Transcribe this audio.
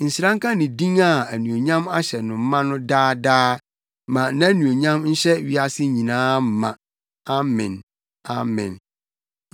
Nhyira nka ne din a anuonyam ahyɛ no ma no daa daa. Ma nʼanuonyam nhyɛ wiase nyinaa ma. Amen! Amen!